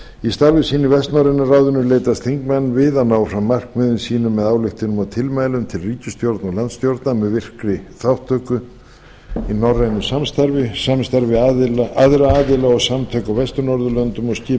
í starfi sínu í vestnorræna ráðinu leitast þingmenn við að ná fram markmiðum sínum með ályktunum og tilmælum til ríkisstjórna og landstjórna með virkri þátttöku í norrænu samstarfi samstarfi við aðra aðila og samtök á vestur norðurlöndum og skipulagningu á ráðstefnum og